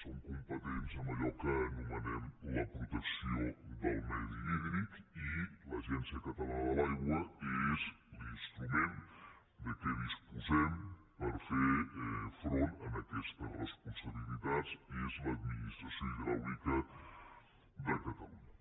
som competents en allò que anomenem la protecció del medi hídric i l’agència catalana de l’aigua és l’instrument de què disposem per fer front a aquestes responsabilitats és l’administració hidràulica de catalunya